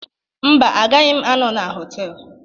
Mba, agaghị m anọ na họtel.